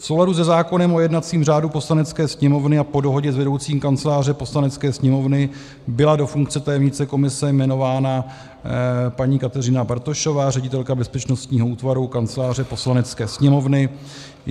V souladu se zákonem o jednacím řádu Poslanecké sněmovny a po dohodě s vedoucím Kanceláře Poslanecké sněmovny byla do funkce tajemnice komise jmenována paní Kateřina Bartošová, ředitelka bezpečnostního útvaru Kanceláře Poslanecké sněmovny.